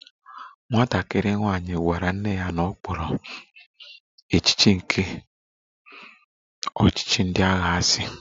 Nwatakịrị nwanyị gwara nne ya na ọ kpọrọ echiche nke ọchịchị ndị agha asị